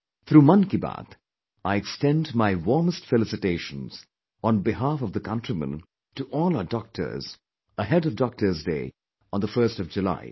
Through Mann Ki Baat I extend my warmest felicitations on behalf of the countrymen to all our doctors, ahead of Doctor's Day on the 1st of July